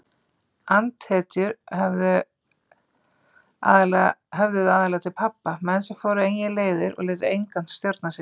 Andhetjur höfðuðu aðallega til pabba, menn sem fóru eigin leiðir og létu engan stjórna sér.